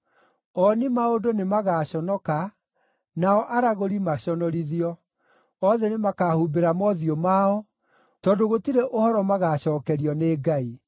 Ooni-maũndũ nĩmagaconoka, nao aragũri maconorithio. Othe nĩmakahumbĩra mothiũ mao, tondũ gũtirĩ ũhoro magaacookerio nĩ Ngai.”